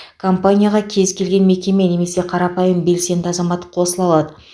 кампанияға кез келген мекеме немесе қарапайым белсенді азамат қосыла алады